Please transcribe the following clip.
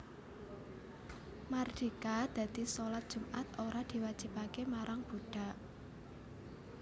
Mardika dadi shalat Jumat ora diwajibake marang budhak